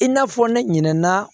I n'a fɔ ne ɲinɛ na